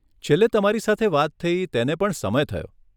છેલ્લે તમારી સાથે વાત થઇ તેને પણ સમય થયો.